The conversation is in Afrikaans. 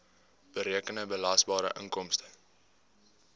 berekende belasbare inkomste